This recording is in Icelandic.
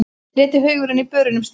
Letihaugurinn í börunum stynur.